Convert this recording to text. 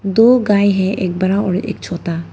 दो गाय हैं एक बरा और एक छोटा।